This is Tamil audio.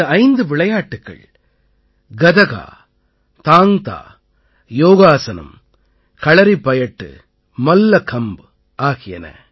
இந்த ஐந்து விளையாட்டுக்கள் கதகா தாங்க் தா யோகாஸனம் களறிப்பாயட்டு மல்லகம்ப் ஆகியன